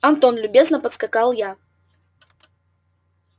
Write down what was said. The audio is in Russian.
антон любезно подскакал я